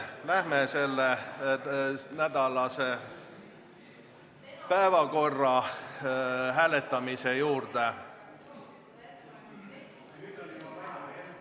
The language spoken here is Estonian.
Läheme selle nädala päevakorra hääletamise juurde.